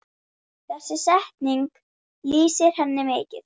Þessi setning lýsir henni mikið.